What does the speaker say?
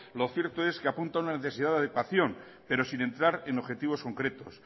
lo cierto es que apunta una necesidad de adaptación pero sin entrar en objetivos concretos